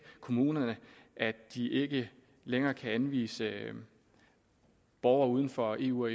kommunerne at de ikke længere kan anvise borgere uden for eu og